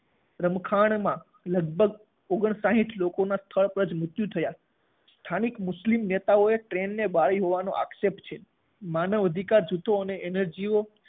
રમખાણમાં લગભગ ઓગણ સાઠ લોકોના સ્થળ પર જ મૃત્યુ થયા. સ્થાનિક મુસ્લિમ નેતાઓએ ટ્રેનને બાળી હોવાનો આક્ષેપ છે. માનવ અધિકાર જૂથો અને એનજીઓ